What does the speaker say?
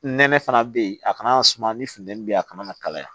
Nɛnɛ fana bɛ yen a kana suma ni funtɛni bɛ yen a kana kalaya